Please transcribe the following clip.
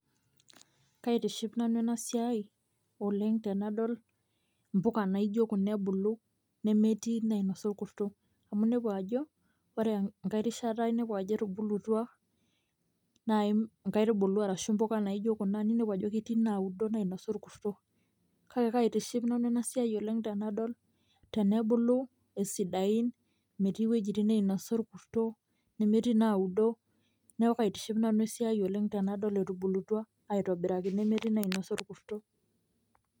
Kaitishipa nanu ena siai oleng' tenadol imbuka naijo kuna ebulu nemetii inainosa olkurto amu inepu ajo ore engae rishata ajo etubutua nai inkaitubulu arashu imbuka naijo kuna ninepu ajo ketii inaaudo nainosa olkurto, kake kaitishipa nanu tenadol asidain metii iwojitin nainosa olkurto, nemetii inaaudo. Neeku kautiship nanu esiai tenadol etubulutua aitobiraki metii inainosa olkurto.